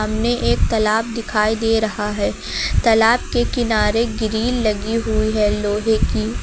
सामने एक तालाब दिखाई दे रहा है तालाब के किनारे ग्रिल लगी हुई है लोहे की।